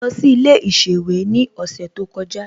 Mo lọ sí ilé ìsèwé ní ọ̀sẹ̀ tó kọjá